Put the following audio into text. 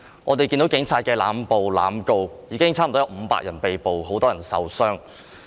我們看到警察濫捕濫告，現已有接近500人被捕，也有很多人受傷。